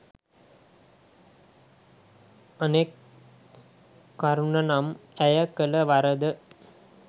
අනෙක් කරුණ නම් ඇය කල වරද